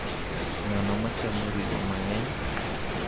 Ng’ano ma chamo ring’o mang’eny?